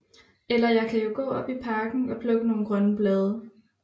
Eller jeg kan jo gaa op i Parken og plukke nogle grønne Blade